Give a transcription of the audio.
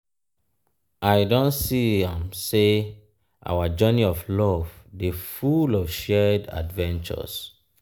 i don see am sey our journey of love dey full of shared adventures.